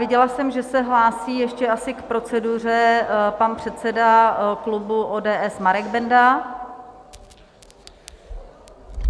Viděla jsem, že se hlásí ještě asi k proceduře pan předseda klubu ODS Marek Benda.